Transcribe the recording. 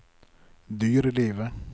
dyrelivet